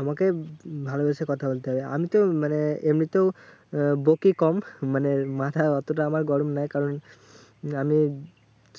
আমাকে ভালোবেসে কথা বলতে হবে। আমিতো মানে এমনিতেও আহ বকি কম, মানে মাথা অতটা আমার গরম নয়। কারণ আমি